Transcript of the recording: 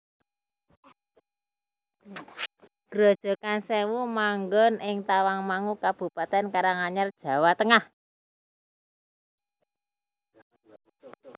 Grojogan Sèwu manggon ing Tawangmangu Kabupatèn Karanganyar Jawa Tengah